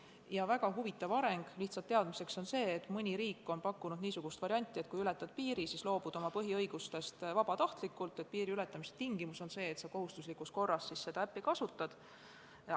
Ja lihtsalt teadmiseks, väga huvitav areng on see, et mõni riik on pakkunud välja niisuguse variandi, et kui ületad piiri, siis loobud oma põhiõigustest vabatahtlikult – piiriületamise tingimus on see, et sa pead kohustuslikus korras seda äppi kasutama.